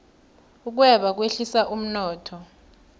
ukweba kwehlisa umnotho